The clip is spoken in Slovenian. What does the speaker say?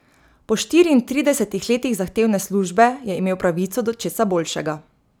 Po štiriintridesetih letih zahtevne službe je imel pravico do česa boljšega.